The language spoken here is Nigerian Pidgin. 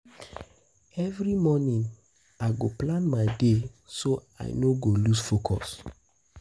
Every morning, I go plan my day so I no go lose focus.